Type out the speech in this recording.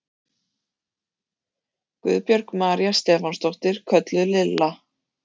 Guðbjörg María Stefánsdóttir, kölluð Lilla